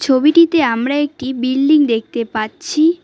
ছবিটিতে আমরা একটি বিল্ডিং দেখতে পাচ্ছি।